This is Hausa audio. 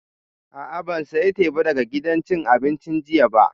A'a, ban saya teba daga gidan cin abincin jiya ba